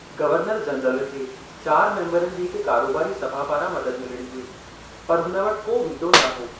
Governor-general खे चार मेम्बरनि जी हिक कारोबारी सभा पारां मदद मिलणी हुई, पर हुन वटि को वीटो न हो।